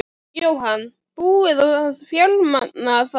Jóhann: Búið að fjármagna það?